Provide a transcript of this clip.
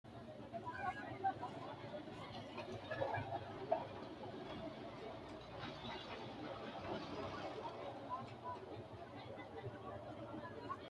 tini maa xawissanno misileeti ? mulese noori maati ? hiissinannite ise ? tini kultannori maati? borronna loosu mittoho? hanni hiikko?